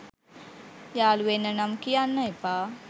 යාළුවෙන්න නම් කියන්න එපා.